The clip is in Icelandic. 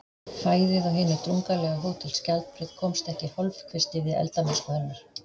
Fæðið á hinu drungalega Hótel Skjaldbreið komst ekki í hálfkvisti við eldamennsku hennar.